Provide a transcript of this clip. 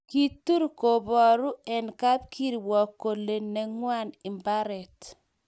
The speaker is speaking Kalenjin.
Kitur kooboru eng' kabkirwok kole neng'wang' mbaret.